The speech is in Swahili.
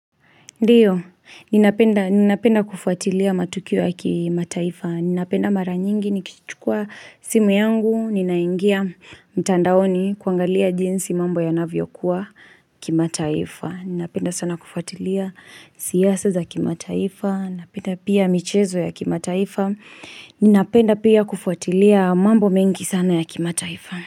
Ndiyo, ninapenda kufuatilia matukio ya kimataifa, ninapenda mara nyingi, nikichukua simu yangu, ninaingia mtandaoni kuangalia jinsi mambo ya navyo kuwa kimataifa, ninapenda sana kufuatilia siyasa za kima taifa, ninapenda pia michezo ya kima taifa, ninapenda pia kufuatilia mambo mengi sana ya kimataifa.